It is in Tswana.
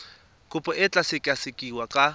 kopo e tla sekasekiwa ka